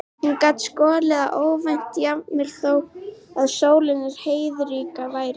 Hún gat skollið á óvænt, jafnvel þó að sól og heiðríkja væri.